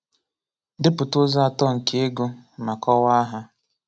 Depụta ụzọ atọ nke ịgụ ma kọwaa ha.